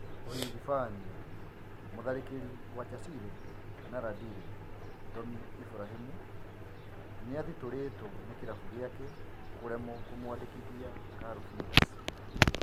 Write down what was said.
(ũhithibania) Mũtharĩkĩri wa Chasile na Landire Tommy Iburahĩmu nĩathitũrĩtwo nĩ kĩrabu gĩake kũremwo kũmwandĩkithia Calvin's.